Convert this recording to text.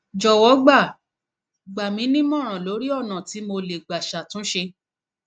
jọwọ gbà gbà mí nímọràn lórí ọnà tí mo lè gbà ṣàtúnṣe